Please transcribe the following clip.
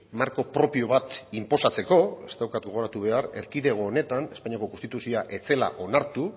marko propio bat inposatzeko ez daukat gogoratu behar erkidego honetan espainiako konstituzioa ez zela onartu